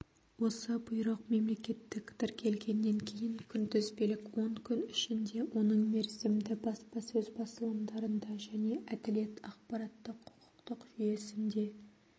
осы бұйрық мемлекеттік тіркелгеннен кейін күнтізбелік он күн ішінде оның мерзімді баспасөз басылымдарында және әділет ақпараттық-құқықтық жүйесінде